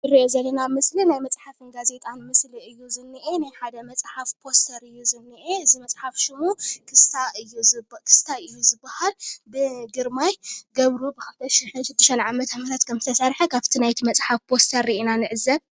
እዚ እንሪኦ ዘለና ምስሊ ናይ መፅሓፍን ጋዜጣን ምስሊ እዩ ዝኒአ። ናይ ሓደ መፅሓፍ ፖስተር እዩ ዝኒአ። እዚ መስሓፍ ሽሙ ክስታይ እዩ ዝበሃል ብግርማይ ገብሩ ብ2006ዓ.ም ከም ዝተሰረሐ ካብቲ ናይቲ መፅሓፍ ፓስተር ሪኢና ንዕዘብ።